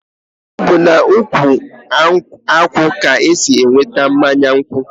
ọ bụ n'ukwu akwụ ka esi enweta mmanya nkwụ.